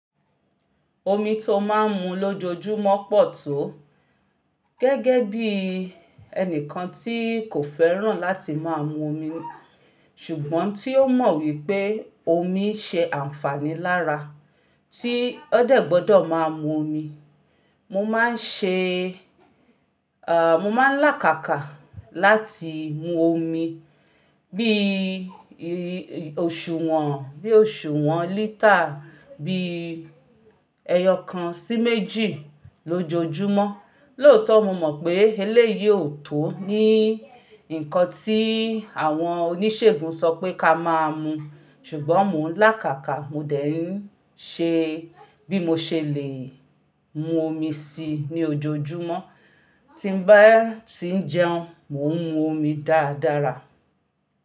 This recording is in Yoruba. Omi tó máa ń mu lójoojúmọ́ pọ̀ tó. Gẹ́gẹ́ bí ẹni kan tí kò fẹ́ràn láti máa mu omi, ṣùgbọ́n tí ó mọ̀ wípé omi n ṣe àǹfààní lára tí ó degbodo máa mu omi. Mo máa ń ṣe, eh, mo máa ń làkàkà láti mu omi bí i oṣù wọ́n, bí i oṣù wọ́n lítà, bí i ẹyọ kan sí méjì lójoojúmọ́. Lóòótọ́ mo mọ̀ pé eléyìí ò tó ní ǹkan tí àwọn oníṣègùn sọ pé ká máa mu, ṣùgbọ́n mo ń làkàkà mo dẹ̀ ń ṣe bí mo ṣe lè mu omi síi ní ojoojúmọ́. Tí n bá ti ń jẹun, mo ń mu omi dáradára.